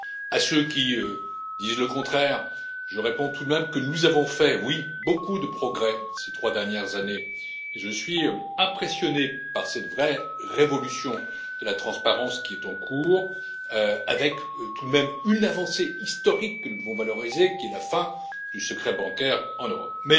À ceux qui disent le contraire, je réponds tout de même que nous avons fait, oui, beaucoup de progrès ces trois dernières années et je suis impressionné par cette vraie révolution de la transparence, qui est en cours, avec tout de même une avancée historique que nous devons valoriser qu'est la fin du secret bancaire en Europe.